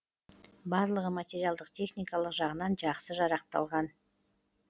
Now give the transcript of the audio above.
барлығы материалдық техникалық жағынан жақсы жарақталған